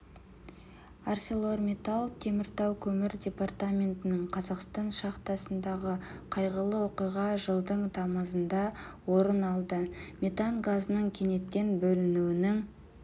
арселормиттал теміртау көмір департаментінің қазақстан шахтасындағы қайғылы оқиға жылдың тамызында орын алды метан газының кенеттен бөлінуінің